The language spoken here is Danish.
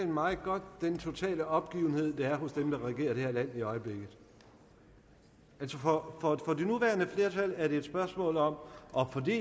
meget godt den totale opgivenhed der er hos dem der regerer det her land i øjeblikket altså for det nuværende flertal er det et spørgsmål om